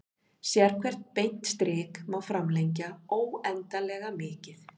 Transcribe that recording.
Sérhvert beint strik má framlengja óendanlega mikið.